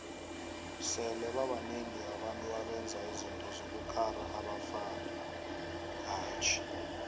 sele babanengi abantu abenza izinto zokukara abavaktjhi